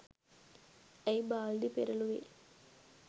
ඇයි බාල්දි පෙරළුවේ